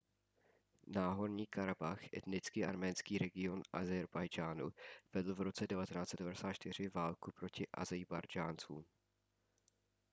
náhorní karabach etnicky arménský region ázerbájdžánu vedl v roce 1994 válku proti ázerbájdžáncům